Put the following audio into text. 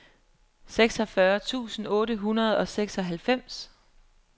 seksogfyrre tusind otte hundrede og seksoghalvfems